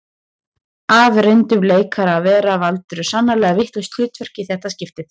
Af reyndum leikara að vera valdirðu sannarlega vitlaust hlutverk í þetta skiptið